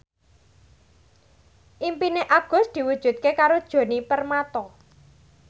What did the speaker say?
impine Agus diwujudke karo Djoni Permato